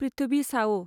प्रिथभि सावो